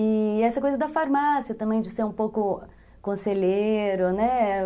E essa coisa da farmácia também, de ser um pouco conselheiro, né?